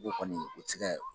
N ko o kɔni o tɛ se ka